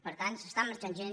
per tant està marxant gent